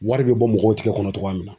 Wari be bɔ mɔgɔw tigɛ kɔnɔ togoya min na